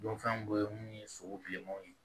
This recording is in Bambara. Don fɛn dɔ ye mun ye sogo bilemanw ye